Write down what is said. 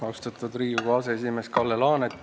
Austatud Riigikogu aseesimees Kalle Laanet!